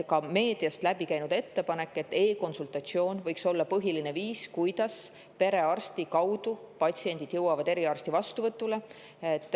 Meediast on läbi käinud ettepanek, et e-konsultatsioon võiks olla põhiline viis, kuidas patsiendid perearsti kaudu jõuavad eriarsti vastuvõtule.